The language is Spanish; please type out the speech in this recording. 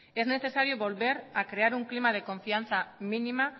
es necesario volver a crear un clima de confianza mínima